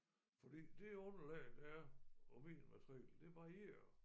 Fordi det underlag der er på min matrikel det varierer